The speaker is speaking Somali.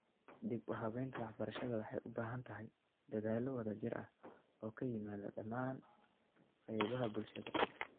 Dib-u-habaynta waxbarashada waxay ubaahantahay dadaallo wadajir ah oo ka yimaada dhammaan qaybahabulshada.